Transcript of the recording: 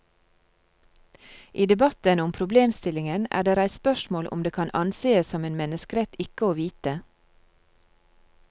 I debatten om problemstillingen er det reist spørsmål om det kan ansees som en menneskerett ikke å vite.